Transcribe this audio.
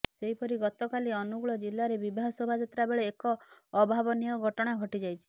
ସେହିପରି ଗତକାଲି ଅନୁଗୁଳ ଜିଲାରେ ବିବାହ ଶୋଭାଯାତ୍ରା ବେଳେ ଏକ ଅଭାବନୀୟ ଘଟଣା ଘଟିଯାଇଛି